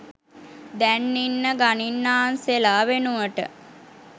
දැන් ඉන්න ගනින්නාන්සෙලා වෙනුවට